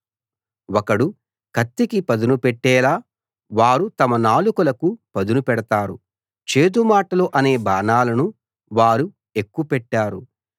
ఒకడు కత్తికి పదునుపెట్టేలా వారు తమ నాలుకలకు పదును పెడతారు చేదు మాటలు అనే బాణాలను వారు ఎక్కుపెట్టారు